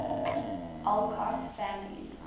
alcott family